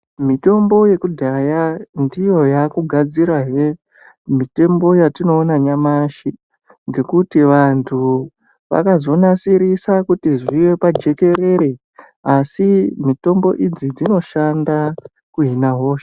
Mitombo yekudhaya ndiyo yakugadzirahe mitombo yatinoona yanyamashi ngekuti vantu vakazonasirisa kuti zvive pajekerere asi mitombo idzi dzinoshanda kuhina hosha.